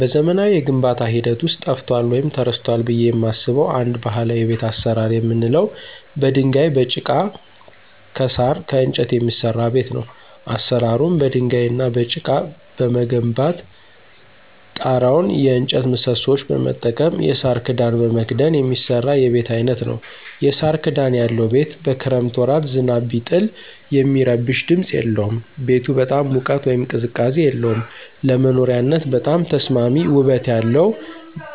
በዘመናዊ የግንባታ ሂደት ውስጥ ጠፍቷል ወይም ተረስቷል ብየ የማስበው አንድ ባህላዊ የቤት አሰራር የምንለው በድንጋይ፣ በጭቃ፣ ከሳር፣ ከእንጨት የሚሰራ ቤት ነው። አሰራሩም በድንጋይ እና በጭቃ በመገንባት ጤራውን የእጨት ምሰሶዎች በመጠቀም የሳር ክዳን በመክደን የሚሰራ የቤት አይነት ነዉ። የሳር ክዳን ያለው ቤት በክረምት ወራት ዝናብ ቢጥል የሚረብሽ ድምፅ የለውም። ቤቱ በጣም ሙቀት ወይም ቅዝቃዜ የለውም። ለመኖሪያነት በጣም ተስማሚ ውበት ያለው